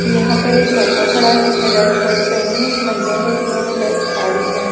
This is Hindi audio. यहां पर एक लड़का खड़ा है जिसने रेड शर्ट पहनी है एक महिला है जिन्होंने रेड साड़ी पहनी--